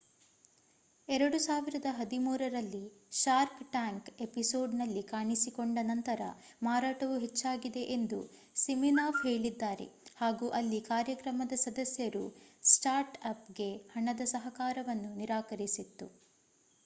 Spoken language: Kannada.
2013 ರಲ್ಲಿ ಶಾರ್ಕ್ ಟ್ಯಾಂಕ್ ಎಪಿಸೋಡ್‌ನಲ್ಲಿ ಕಾಣಿಸಿಕೊಂಡ ನಂತರ ಮಾರಾಟವು ಹೆಚ್ಚಾಗಿದೆ ಎಂದು ಸಿಮಿನಾಫ್ ಹೇಳಿದ್ದಾರೆ ಹಾಗು ಅಲ್ಲಿ ಕಾರ್ಯಕ್ರಮದ ಸದಸ್ಯರು ಸ್ಟಾರ್ಟ್ ಅಪ್ ಗೆ ಹಣದ ಸಹಕಾರವನ್ನು ನಿರಾಕರಿಸಿತ್ತು